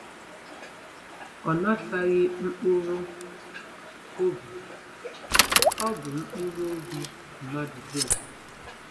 Ọ nataghị mkpụrụ obi; ọ bụ mkpụrụ obi - mmadụ dum.